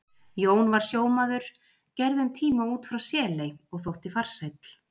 Jón var sjómaður, gerði um tíma út frá Seley og þótti farsæll.